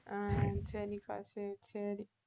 அஹ் சரிக்கா சரி சரி